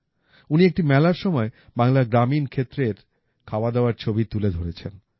উনি একটি মেলার সময় বাংলার গ্রামীণ ক্ষেত্রের খাওয়াদাওয়ার ছবি তুলে ধরেছেন